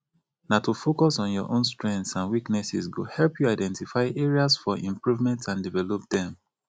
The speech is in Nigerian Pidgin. na to focus on your own strengths and weaknesses go help you identify areas for improvement and develop dem